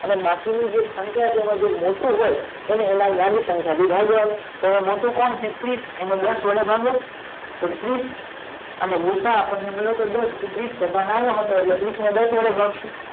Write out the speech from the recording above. અને બાકી ની જે સંખ્યા મોટી હોય એને એની નાની સંખ્યા થી ભાગવાનું તો મોટું કોણ છે ત્રીસ એને દસ વડે ભાગો તો ત્રીસ અને ગૂસાઅ આપદને મળી યો તો દસ એટલે ત્રીસ ને દસ વડે ભાગસું